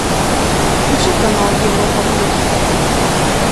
включи канал европа плюс